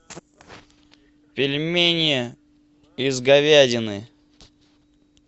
пельмени из говядины